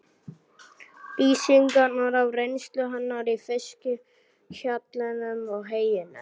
Lýsingarnar af reynslu hennar í fiskhjallinum og heyinu?